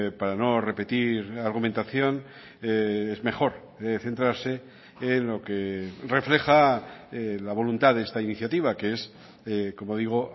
para no repetir la argumentación es mejor centrarse en lo que refleja la voluntad de esta iniciativa que es como digo